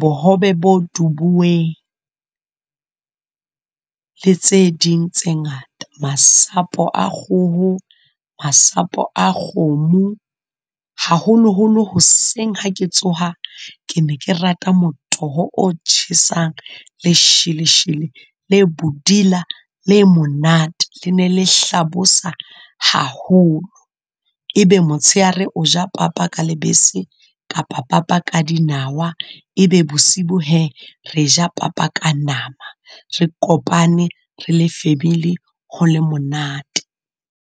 bohobe bo dubuweng le tse ding tse ngata. Masapo a kgoho, masapo a kgomo, haholoholo hoseng ha ke tsoha ke ne ke rata motoho o tjhesang, lesheleshele le bodila le monate. Le ne le hlabosa haholo, e be motsheare o ja papa ka lebese kapa papa ka dinawa. E be bosibu hee re ja papa ka nama, re kopane re le family, ho le monate.